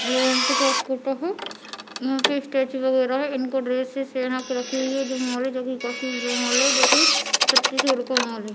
लोगो को टेक करता है यहाँ पे स्टेचू बगैरा है इनको ड्रेसस यहाँ पे रखी हुई है काफी बड़ा मॉल है जो की छत्तीसगढ़ का मॉल है।